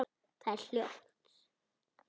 Það er hljótt.